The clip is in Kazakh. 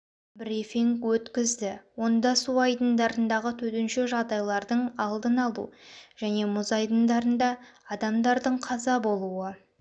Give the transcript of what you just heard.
брифинг өткізді онда су айдындарындағы төтенше жағдайлардың алдын алу және мұз айдындарында адамдардың қаза болуы